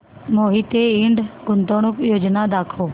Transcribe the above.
मोहिते इंड गुंतवणूक योजना दाखव